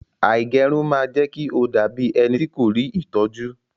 Àìgẹrun ma jẹ́kí o dabi ẹnití kò rí ìtọ́jú.